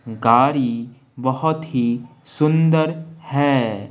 गाड़ी बहुत ही सुंदर है।